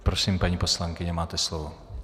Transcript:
Prosím, paní poslankyně, máte slovo.